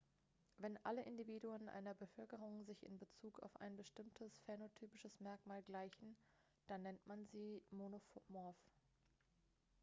wenn alle individuen einer bevölkerung sich in bezug auf ein bestimmtes phänotypisches merkmal gleichen dann nennt man sie monomorph